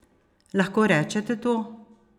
Lahko rečete to?